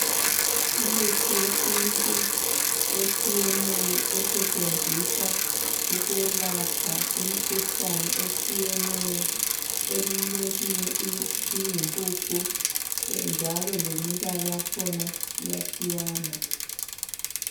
Imithi yesintu etshiyeneyo esetshenziswa ukwelapha imikhuhlane etshiyeneyo. Eminye iyimpuphu njalo lemibala yakhona iyatshiyana.